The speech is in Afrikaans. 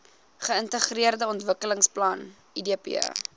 geintegreerde ontwikkelingsplan idp